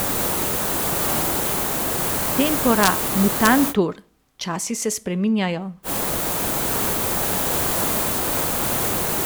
Tempora mutantur, časi se spreminjajo.